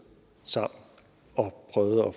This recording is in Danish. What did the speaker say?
sammen og prøvet at